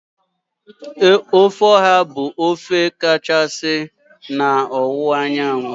Ofe oha bụ otu n'ime ofe kachasị na ọwụwa anyanwụ.